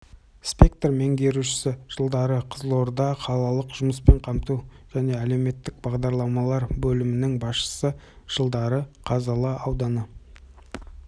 сектор меңгерушісі жылдары қызылорда қалалық жұмыспен қамту және әлеуметтік бағдарламалар бөлімінің басшысы жылдары қазалы ауданы